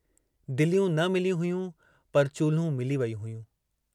दिलियूं न मिलियूं हुयूं पर चुल्हूं मिली वयूं हुयूं।